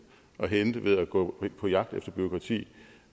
at hente ved at gå på jagt efter bureaukrati